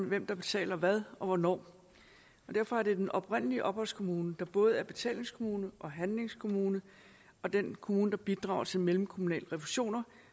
hvem der betaler hvad og hvornår derfor er det den oprindelige opholdskommune der både er betalingskommune og handlingskommune og den kommune der bidrager til mellemkommunale refusioner